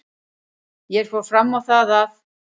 Ég fór fram á það að